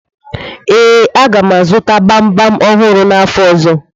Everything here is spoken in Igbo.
Ee, a ga m azụta gbamgbam ọhụrụ n'afọ ọzọ.